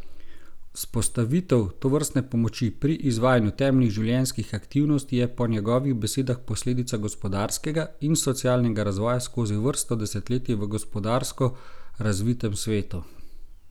Vzpostavitev tovrstne pomoči pri izvajanju temeljnih življenjskih aktivnosti je po njegovih besedah posledica gospodarskega in socialnega razvoja skozi vrsto desetletij v gospodarsko razvitem svetu.